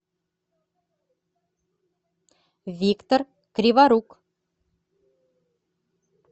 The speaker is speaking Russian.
виктор криворук